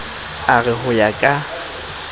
a re ho ya ka